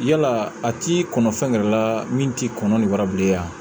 Yala a t'i kɔnɔ fɛn yɛrɛ la min t'i kɔnɔ ni wara bilen yan